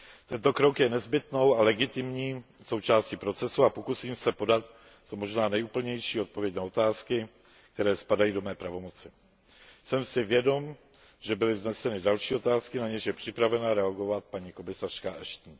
Tento krok je nezbytnou a legitimní součástí procesu a pokusím se podat co možná nejúplnější odpověď na otázky, které spadají do mé pravomoci. Jsem si vědom, že byly vzneseny další otázky, na něž je připravena reagovat paní komisařka Ashton.